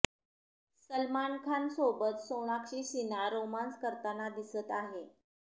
सलमान खान सोबत सोनाक्षी सिन्हा रोमांस करताना दिसत आहे